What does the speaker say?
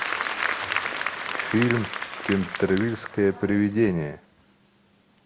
фильм кентервильское привидение